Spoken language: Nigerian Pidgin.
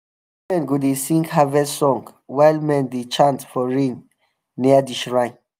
women go dey sing harvest song while men dey chant for rain near the shrine.